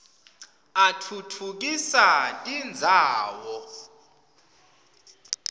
atfutfukisa tindzawo